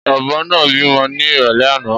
Ọbọ náà bímọ ni irọlẹ àná